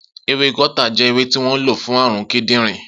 Ewé gáútà jẹ́ ewé tí wọ́n lo fún àrùn kídìnrín